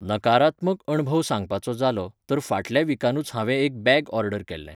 नकारात्मक अणभव सांगपाचो जालो, तर फाटल्या विकानूच हांवें एक बॅग ऑर्डर केल्लें.